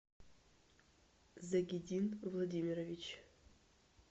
загидин владимирович